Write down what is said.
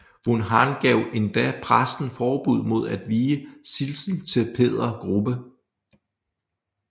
Von Hahn gav endda præsten forbud mod at vie Sidsel til Peder Grubbe